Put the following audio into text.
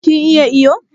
Kin iya iyo?